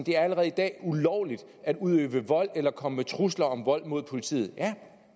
det allerede i dag er ulovligt at udøve vold mod eller komme med trusler om vold mod politiet ja